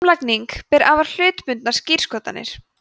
samlagning ber afar hlutbundnar skírskotanir